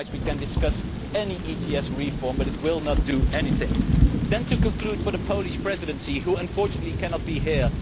Otherwise we can discuss any ETS reform, but it will not achieve anything. To conclude regarding the Polish Presidency, who unfortunately cannot be here.